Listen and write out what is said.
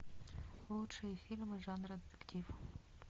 лучшие фильмы жанра детектив